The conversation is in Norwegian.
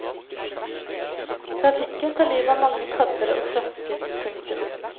Trafikken tar livet av mange padder og frosker. punktum